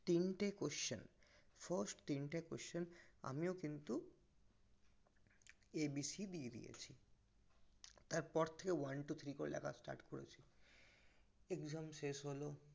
তিনটে question first তিনটে question আমিও কিন্তু A B C দিয়ে দিয়েছি তারপর থেকে one two three দিয়ে লেখা করেছি exam শেষ হল